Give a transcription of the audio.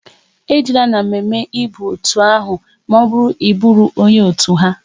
E jeela na emume ba n'otu ahụ maọbụru na Ị buro onye otu ha!